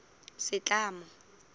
setlamo